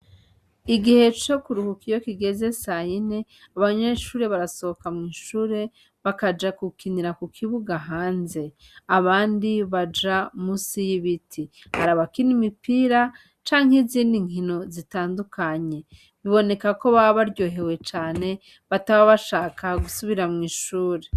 Igihe co kuruhuka iyo kigeze sayine, abanyeshuri barasohoka mu ishure, bakaja gukinira ku kibuga hanze. Abandi baja musi y'ibiti, hari abakina imipira canke izindi nkino zitandukanye. Biboneka ko baba baryohewe cane, bataba bashaka gusubira mu ishure.